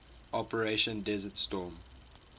operation desert storm